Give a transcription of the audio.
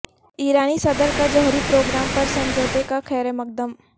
ایرانی صدر کا جوہری پروگرام پر سمجھوتے کا خیر مقدم